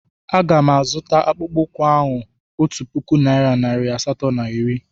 A ga m azụta akpụkpọ ụkwụ ahụ otu puku naịra nari asatọ na iri.